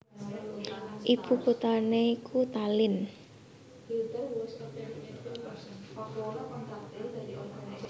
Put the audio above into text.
Ibu kuthané iku Tallinn